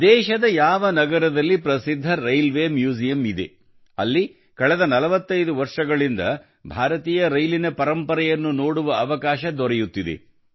ದೇಶದ ಯಾವ ನಗರದಲ್ಲಿ ಪ್ರಸಿದ್ಧ ರೇಲ್ವೆ ಮ್ಯೂಸಿಯಂ ಇದೆ ಅಲ್ಲಿ ಕಳೆದ 45 ವರ್ಷಗಳಿಂದ ಭಾರತೀಯ ರೈಲಿನ ಪರಂಪರೆಯನ್ನು ನೋಡುವ ಅವಕಾಶ ದೊರೆಯುತ್ತಿದೆ